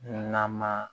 Nama